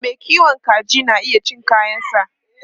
Mai kiwon kaji na iya cin kayansa.